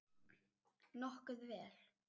Nokkuð vel.